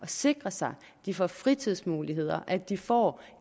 sikrer sig at de får fritidsmuligheder at de får